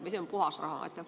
Või see on puhas raha?